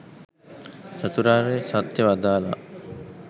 චතුරාර්ය සත්‍යය වදාළා.